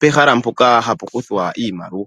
pehahala mpoka hapu kuthwa iimaliwa.